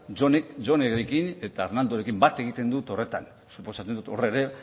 jonerekin eta arnaldorekin bat egiten dut horretan suposatzen dut hor ere